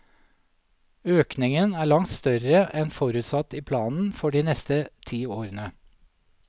Økningen er langt større enn forutsatt i planen for de neste ti årene.